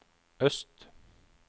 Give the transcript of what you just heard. øst